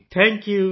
thank you